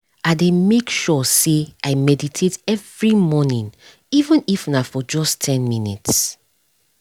i dey make sure say i meditate every morning even if na for just ten minutes